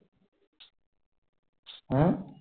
হম